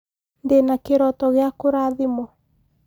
ndĩna kĩroto gĩakũrathimwo